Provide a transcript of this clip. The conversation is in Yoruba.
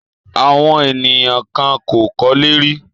Àwọn ènìyàn kan kò kọ́lé rí.